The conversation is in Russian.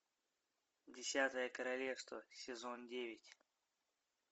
десятое королевство сезон девять